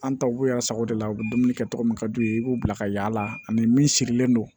An taw b'u yɛrɛ sago de la u bɛ dumuni kɛ cogo min ka d'u ye i b'u bila ka yaala ani min sirilen don